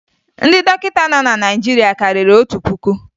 Ndị dọkịta nọ na Naịjirịa karịrị otu puku